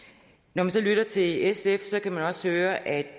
når man lytter til sf kan man også høre at